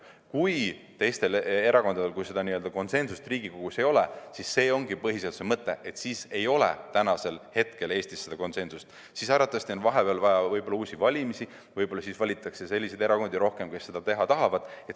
Kui seda konsensust Riigikogus ei ole, siis see ongi see põhiseaduse mõte, siis ei ole hetkel Eestis seda konsensust, siis on arvatavasti vaja uusi valimisi, võib-olla siis valitakse rohkem selliseid erakondi, kes seda teha tahavad.